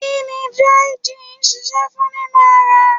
Kí ni dry gin ń ṣiṣẹ́ fún nínú ara?